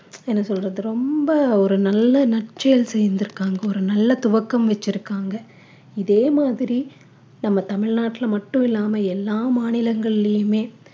என்ன சொல்றது ரொம்ப ஒரு நல்ல நற்செயல் செஞ்சிருக்காங்க ஒரு நல்ல துவக்கம் வெச்சிருக்காங்க இதே மாதிரி நம்ம தமிழ்நாட்டில மட்டும் இல்லாம எல்லா மாநிலங்கள்லையுமே